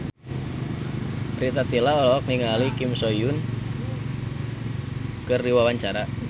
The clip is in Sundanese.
Rita Tila olohok ningali Kim So Hyun keur diwawancara